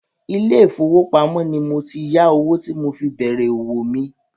ilé ìfowópamọ́ ni mo ti yá owó tí mo fi bèrè òwò mi.